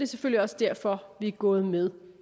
selvfølgelig også derfor vi er gået med